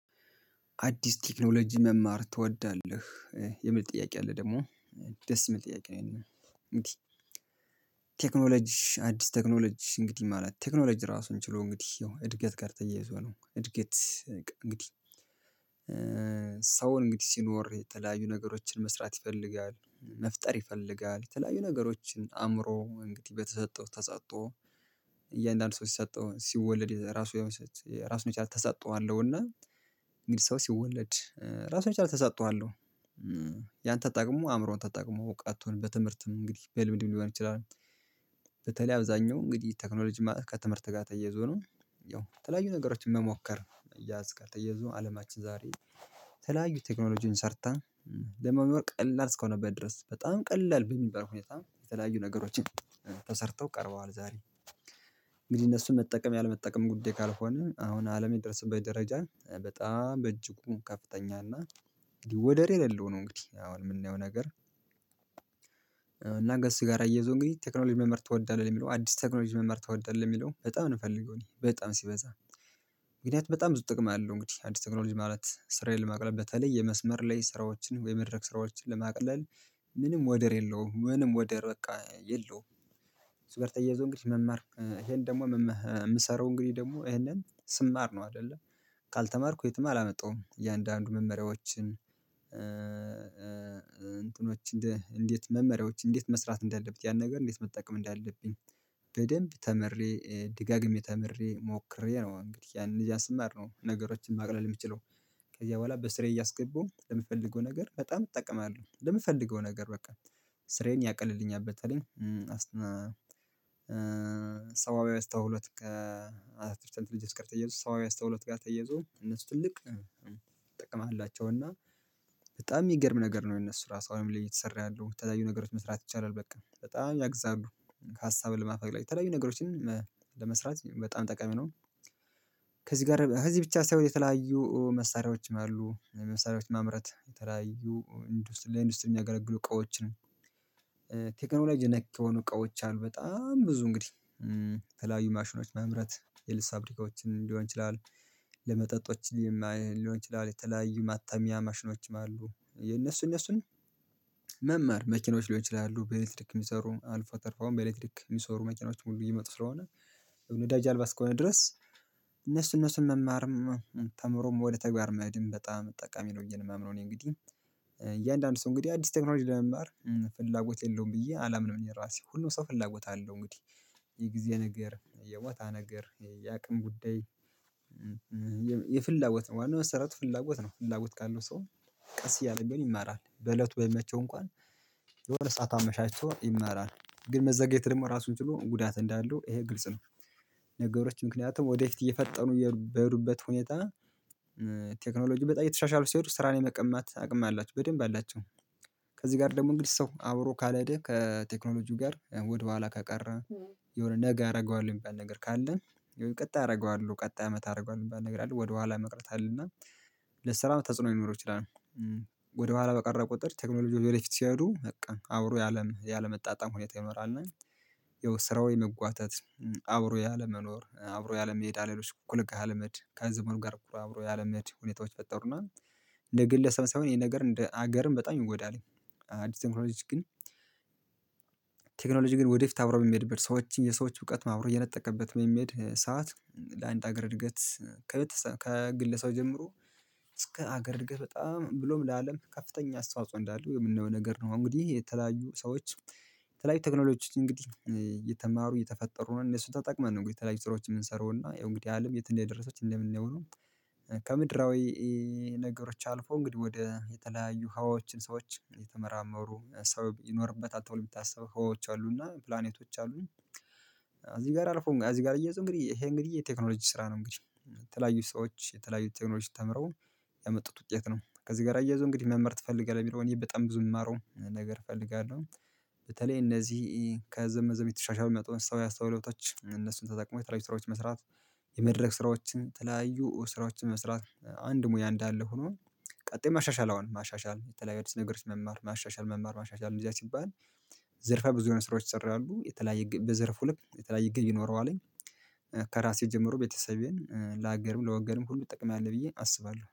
አዲስ ቴክኖሎጂ መማር ትወዳለህ የሚል ጥያቄ አለ ደግሞ ደስ የሚል ጥያቄ ነው። እንግዲህ ቴክኖሎጂ አዲስ ቴክኖሎጂ እንግዲህ ማለት ቴክኖሎጂ ራሱን ችሎ እንግዲህ ያው እድገት ጋር ተያይዞ ነው። እድገት እንግዲህ ሰውን እንግዲህ ሲኖር የተለያዩ ነገሮችን መስራት ይፈልጋል መፍጠር ይፈልጋል የተለያዩ ነገሮችን አእምሮ እንግዲህ በተሰጠው ተሰጥኦ። እያንዳንዱ ሰው ሲሰጠው ሲወለድ የራሱ የሆነ ራሱን የቻለ ተሰጥኦ አለው። እና እንግዲህ ሰው ሲወለድ ራሱን የቻለ ተሰጥኦ አለሁ። ያን ተጠቅሞ አእምሮውን ታጠቅሞ እውቀቱም ትምህርትም እንግዲህ በልምድም ሊሆን ይችላል። በተለይ አብዛኛው እንግዲህ ቴክኖሎጂ ከትምህርት ጋር ተያይዞ ነው። ያው የተለያዩ ነገሮችን መሞከር ያዝካል ተያይዞ አለማችን ዛሬ የተለያዩ ቴክኖሎጂን ሰርታ። ለመኖር ቀላል እስከሆነበት ድረስ በጣም ቀላል በሚባል ሁኔታ የተለያዩ ነገሮችን ተሰርተው ቀርበዋል። ዛሬ እንግዲህ እነሱን መጠቀም ያለመጠቀም ጉዳይ ካልሆነ አሁን አለም የደረሰበት ደረጃ በጣም በእጅጉም ከፍተኛና ወደር የሌለው ነው። እንግዲህ አሁን የምናየው ነገር። እና ከሱ ጋር አያይዞ እንግዲህ ቴክኖሎጂ መምህር ትወዳለህ የሚለው አዲስ ቴክኖሎጂ መምህር ትወዳለህ ለሚለው በጣም ነው የምፈልገው። እኔ በጣም ሲበዛ ምክንያቱም በጣም ብዙ ጥቅም አለው። እንግዲህ አዲስ ቴክኖሎጂ ማለት ስራዬን ለማቅረብ በተለይ የመስመር ላይ ስራዎችን ወይ የመድረክ ስራዎችን ለማቅለል ምንም ወደር የለውም ምንም ወደር በቃ የለውም። ከሱ ጋር ተያይዞ እንግዲህ መማር ይሄን ደግሞ የምሰራው እንግዲህ ደግሞ ይሄንን ስማር ነው። አይደለ ካልተማርኩ የትም አላመጣሁም። እያንዳንዱ መመሪያዎችን እንትኖች እንዴት መመሪያዎች እንዴት መስራት እንዳለብህ ያን ነገር እንዴት መጠቀም እንዳለብኝ። በደንብ ተምሬ ድጋግሜ ተምሬ ሞክሬ ነው። እንግዲህ ያንን እያሰማር ነው ነገሮችን ማቅለል የምችለው። ከዚያ በኋላ በስሬ እያስገቡ ለምፈልገው ነገር በጣም እጠቀማለሁ ለምፈልገው ነገር በቃ ስራዬን ያቀልልኛል። በተለይ አስተውሎት ከአርተፊሻል ኢንተለጀንስ ጋር ተያይዞ ሰዋዊ አስተውሎት ጋር ተያይዞ እነሱ ትልቅ ጥቅም አላቸውና። በጣም የሚገርም ነገር ነው። የነሱ ራሱ አሁን ላይ እየተሰራ ያለው የተለያዩ ነገሮች መስራት ይቻላል በቃ በጣም ያግዛሉ። ሀሳብ ለማፍለቅ ላይ የተለያዩ ነገሮችን ለመስራት በጣም ጠቃሚ ነው። ከዚህ ጋር ከዚህ ብቻ ሳይሆን የተለያዩ መሳሪያዎችም አሉ። መሳሪያዎች ማምረት የተለያዩ ለኢንዱስትሪ የሚያገለግሉ እቃዎች ነን ነክ የሆኑ እቃዎች አሉ። በጣም ብዙ እንግዲህ የተለያዩ ማሽኖች ማምረት የልብስ ፋብሪካዎችን ሊሆን ይችላል። ለመጠጦች ሊሆን ይችላል የተለያዩ ማተሚያ ማሽኖችም አሉ። የነሱ እነሱን መማር መኪኖች ሊሆን ይችላሉ። በኤሌትሪክ የሚሰሩ አልፎ ተርፎም በኤሌክትሪክ የሚሰሩ መኪናዎችም ሁሉ እየመጡ ስለሆነ ነዳጅ አልባ እስከሆነ ድረስ። እነሱ እነሱን መማርም ተምሮም ወደ ተግባር መሄድም በጣም ጠቃሚ ነው ብዬ ነው የማምነው። እኔ እንግዲህ እያንዳንዱ ሰው እንግዲህ አዲስ ቴክኖሎጂ ለመማር ፍላጎት የለውም ብዬ አላምንም። የራሴ ሁሉም ሰው ፍላጎት አለው እንግዲህ የጊዜ ነገር የቦታ ነገር የአቅም ጉዳይ። የፍላጎት ዋናው መሰረቱ ፍላጎት ነው። ፍላጎት ካለው ሰው ቀስ እያለም ቢሆን ይማራል በእለቱ ባይመቸው እንኳን የሆነ ሰዓት አመቻችቶ ይማራል። ግን መዘግየት ደግሞ ራሱን ችሎ ጉዳት እንዳለው ይሄ ግልጽ ነው። ነገሮች ምክንያቱም ወደፊት እየፈጠኑ በሄዱበት ሁኔታ። ቴክኖሎጂ በጣም እየተሻሻሉ ስሄዱ ስራን የመቀማት አቅም አላችሁ በደንብ አላቸው። ከዚህ ጋር ደግሞ እንግዲህ ሰው አብሮ ካልሄድ ከቴክኖሎጂው ጋር ወደ ኋላ ከቀረ። የሆነ ነገ አደርገዋለሁኝ የሚባል በገር ካለ ቀጣይ አደርገዋለሁ ቀጣይ አመት አደርገዋለሁ የሚባል ነገር አለ። ወደኋላ መቅረት አለና። ለስራም ተጽዕኖ ሊኖረው ይችላል። ወደኋላ በቀረ ቁጥር ቴክኖሎጂው ወደፊት ሲሄዱ በቃ አብሮ ያለም ያለመጣጣም ሁኔታ ይኖራል። እና ያው ስራው የመጓተት አብሮ ያለመኖር አብሮ ያለመሄድ አለሌሎች ኩልክ አለመድ ከዘመኑ ጋር አብሮ ያለመድ ሁኔታዎች ይፈጠሩና። እንደ ግለሰብ ሳይሆን ይሄ ነገር እንደ ሀገርም በጣም ይጎዳል። አዲስ ቴክኖሎጂ ግን ቴክኖሎጂ ግን ወደፊት አብረው የሚሄድበት ሰዎችን የሰዎች እውቀት አብሮ እየነጠቀበት በሚሄድ ሰዓት ለአንድ ሀገር እድገት ከቤት ከግለሰብ ጀምሮ እስከ ሀገር እድገት በጣም ብሎም ለአለም ከፍተኛ አስተዋጽኦ እንዳለው የምናየው ነገር ነው። እንግዲህ የተለያዩ ሰዎች የተለያዩ ቴክኖሎጂ እንግዲህ እየተማሩ እየተፈጠሩ ነው። እነሱ ተጠቅመን ነው። እንግዲህ የተለያዩ ስራዎችን የምንሰራው እና ያው እንግዲህ አለም የት እንደደረሰች እንደምናየው። ከምድራዊ ነገሮች አልፎ እንግዲህ ወደ የተለያዩ ህዋዎችን ሰዎች እየተመራመሩ ሰው ይኖርበታል። ተብሎ የሚታሰበው ህዋዎች አሉና ፕላኔቶች አሉኝ እዚህ ጋር አልፎም እዚህ ጋር አያይዞ እንግዲህ ይሄ እንግዲህ የቴክኖሎጂ ስራ ነው። እንግዲህ የተለያዩ ሰዎች የተለያዩ ቴክኖሎጂ ተምረው ያመጡት ውጤት ነው። ከዚህ ጋር አያይዞ እንግዲህ መማር ትፈልጋለህ የሚለውን በጣም ብዙ የሚማረው ነገር እፈልጋለሁ። በተለይ እነዚህ ከዘመን ዘመን እየተሻሻለ የመጣውን ሰዋዊ አስተውሎቶች እነሱን ተጠቅመው የተለያዩ ስራዎችን መስራት። የመድረክ ስራዎችን የተለያዩ ስራዎችን መስራት አንድ ሙያ እንዳለ ሆኖ። ቀጥሎ ማሻሻል አሁን ማሻሻል የተለያዩ አዲስ ነገር መማር ማሻሻል መማር ማሻሻል እንደዚያ ሲባል። ዘርፈ ብዙ የሆነ ስራዎች ይሰራሉ። የተለያየ በዘርፉ ልክ የተለያየ ይኖረዋል። ከራሴ ጀምሮ ቤተሰቤን ለሀገርም ለወገንም ሁሉ እጠቅማለሁ ብዬ አስባለሁ